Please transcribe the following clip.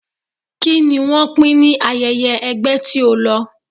Kí ni wọ́n pín ní ayẹyẹ ẹgbẹ́ tí ó lọ?